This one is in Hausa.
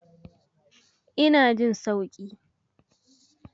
Ina jin sauki.